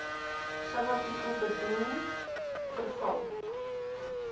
subartikel bedoel verval